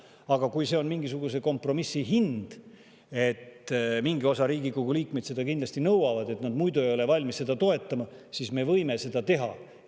Aga kui see on mingisuguse kompromissi hind, et mingi osa Riigikogu liikmeid seda kindlasti nõuab ja nad muidu ei ole valmis seda toetama, siis me võime seda teha.